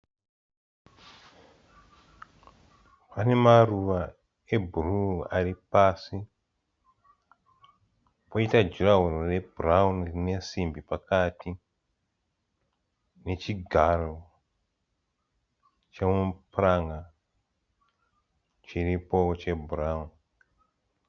Pane maruva ebhru aripasi, koita ghurawo rebhurauni rine simbi pakati nechigaro chemapuranga chiripowo chebhurauni.